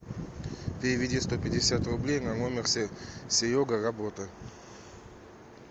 переведи сто пятьдесят рублей на номер серега работа